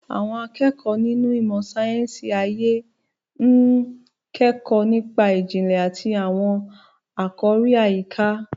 Àwọn akẹ́kọ̀ọ́ nínú ìmọ̀ sáyẹ́sì ayé ń kẹ́kọ̀ọ́ nípa ìjìnlẹ̀ àti àwọn àkòrí àyíká.